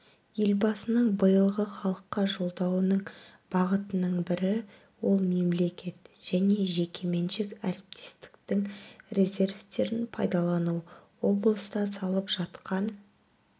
елбасының биылғы халыққа жолдауының бағытының бірі ол мемлекет және жекеменшік әріптестіктің резервтерін пайдалану облыста салып жатқан